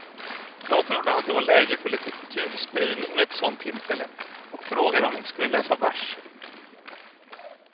Jag trodde det var läge för litet kulturspridning vid ett sånt tillfälle och frågade om vi inte skulle läsa vers.